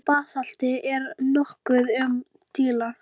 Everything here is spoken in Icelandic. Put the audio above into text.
Skuggi, stilltu niðurteljara á tuttugu og sex mínútur.